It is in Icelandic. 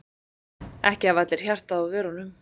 Ekki hafa allir hjartað á vörunum.